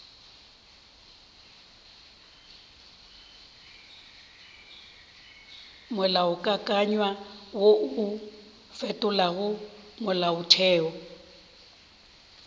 molaokakanywa wo o fetolago molaotheo